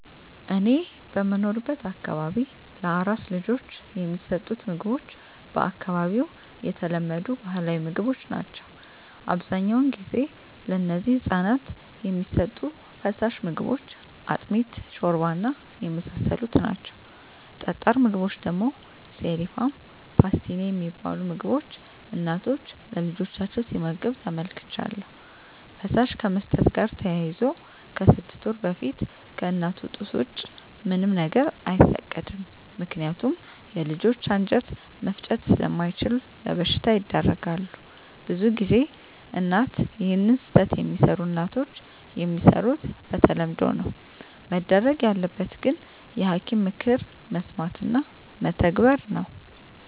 እኔ በምኖርበት አካባቢ ለአራስ ልጆች የሚሠጡት ምግቦች በአካባቢው የተለመዱ ባህላዊ ምግቦች ናቸው አብዛኛውን ጊዜ ለነዚህ ህፃናት የሚሠጡ ፋሳሽ ምግቦች አጥሚት ሾርባ እና የመሳሰሉት ናቸው ጠጣር ምግቦች ደግሞ ሴሪፍም ፓስቲኒ የሚባሉ ምግቦች እናቶች ለልጆቻቸው ሲመግብ ተመልክቻለሁ ፈሳሽ ከመስጠት ጋር ተያይዞ ከስድስት ወር በፊት ከእናቱ ጡት ወጪ ምንም ነገር አይፈቀድም ምከንያቱም የልጆች አንጀት መፍጨት ስላምችሉ ለበሽታ ይዳረጋሉ። ብዙ ጊዜ እናት ይህን ስህተት የሚሰሩ እናቶች የሚሰሩት በተለምዶ ነው መደረግ ያለበት ግን የሐኪም ምክር መስማት እና መተግበር ነው።